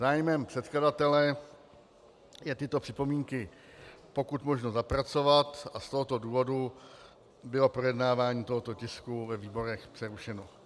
Zájmem předkladatele je tyto připomínky pokud možno zapracovat a z tohoto důvodu bylo projednávání tohoto tisku ve výborech přerušeno.